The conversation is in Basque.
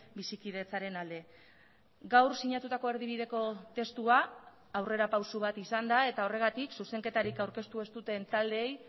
bizikidetzaren alde gaur sinatutako erdibideko testua aurrerapauso bat izan da eta horregatik zuzenketarik aurkeztu ez duten taldeei